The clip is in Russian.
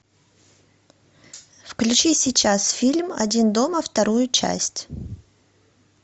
включи сейчас фильм один дома вторую часть